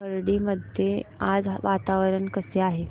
खर्डी मध्ये आज वातावरण कसे आहे